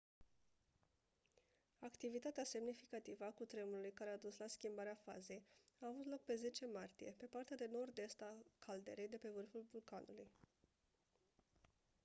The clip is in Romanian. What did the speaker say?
activitatea semnificativă a cutremurului care a dus la schimbarea fazei a avut loc pe 10 martie pe partea de nord-est a caldeirei de pe vârful vulcanului